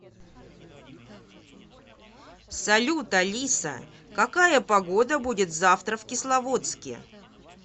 салют алиса какая погода будет завтра в кисловодске